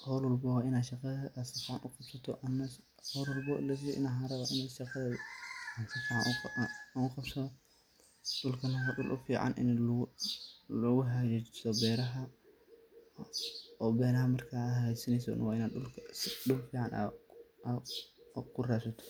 xol walbawo waina shaqadheda aad sufican ufahanto si oo dulkana fafahin deerad oo kabixisa, si oo waxberashadhada uu wanagsanato.